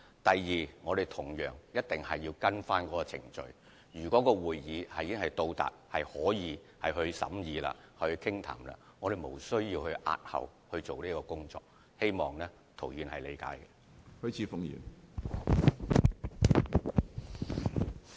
第二，我們同樣會按程序行事，即如果申請已經到達可以交由大會審議的階段，便無須押後有關工作，希望涂議員理解。